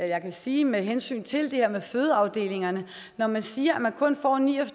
jeg kan sige med hensyn til det her med fødeafdelingerne at når man siger at man kun får ni og